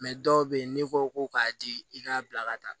dɔw bɛ yen n'i ko ko k'a di i k'a bila ka taa